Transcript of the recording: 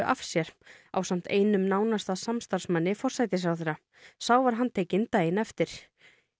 af sér ásamt einum nánasta samstarfsmanni forsætisráðherra sá var handtekinn daginn eftir